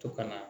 To ka na